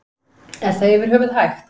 Er það yfir höfuð hægt?